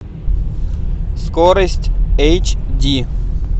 скорость эйч ди